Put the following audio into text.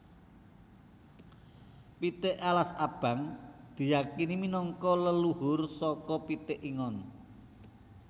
Pitik alas abang diyakini minangka leluhur saka pitik ingon